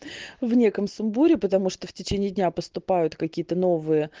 в неком сумбуре потому что в течение дня поступают какие-то новые